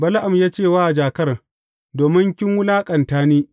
Bala’am ya ce wa jakar Domin kin wulaƙanta ni!